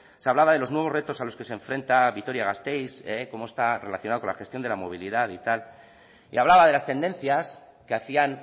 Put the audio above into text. se hablaba de los nuevos retos a los que se enfrenta vitoria gasteiz cómo está relacionado con la gestión de la movilidad y tal y hablaba de las tendencias que hacían